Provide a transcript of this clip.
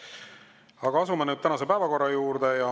Aga asume nüüd tänase päevakorra juurde.